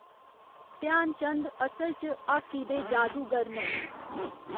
ध्यानचंद असल च हाकी दे जादूगिर न।